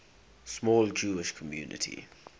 small jewish community